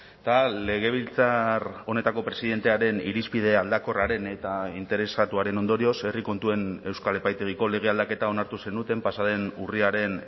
eta legebiltzar honetako presidentearen irizpide aldakorraren eta interesatuaren ondorioz herri kontuen euskal epaitegiko lege aldaketa onartu zenuten pasa den urriaren